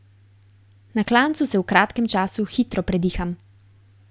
Na klancu se v kratkem času hitro prediham.